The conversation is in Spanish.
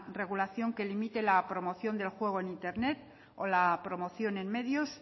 regulación que limite la promoción del juego en internet o la promoción en medios